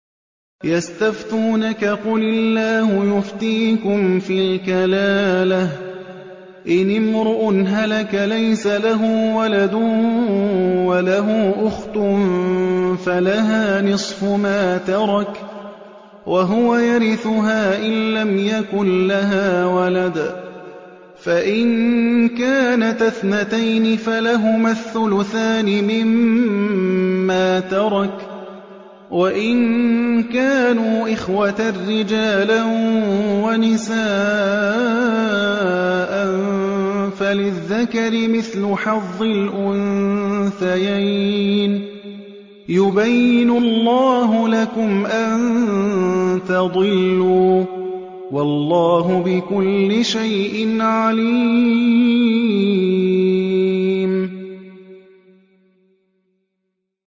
يَسْتَفْتُونَكَ قُلِ اللَّهُ يُفْتِيكُمْ فِي الْكَلَالَةِ ۚ إِنِ امْرُؤٌ هَلَكَ لَيْسَ لَهُ وَلَدٌ وَلَهُ أُخْتٌ فَلَهَا نِصْفُ مَا تَرَكَ ۚ وَهُوَ يَرِثُهَا إِن لَّمْ يَكُن لَّهَا وَلَدٌ ۚ فَإِن كَانَتَا اثْنَتَيْنِ فَلَهُمَا الثُّلُثَانِ مِمَّا تَرَكَ ۚ وَإِن كَانُوا إِخْوَةً رِّجَالًا وَنِسَاءً فَلِلذَّكَرِ مِثْلُ حَظِّ الْأُنثَيَيْنِ ۗ يُبَيِّنُ اللَّهُ لَكُمْ أَن تَضِلُّوا ۗ وَاللَّهُ بِكُلِّ شَيْءٍ عَلِيمٌ